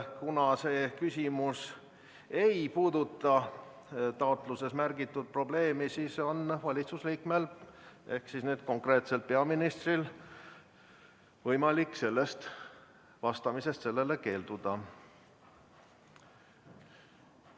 Kuna see küsimus ei puuduta taotluses märgitud probleemi, siis on valitsusliikmel ehk praegu konkreetselt peaministril võimalik sellele vastamisest keelduda.